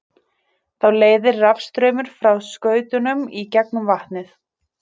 Þá leiðir rafstraumur frá skautunum í gegnum vatnið.